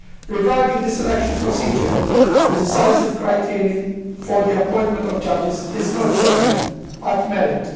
Regarding the selection procedure, the decisive criterion for the appointment of judges is not gender but merit.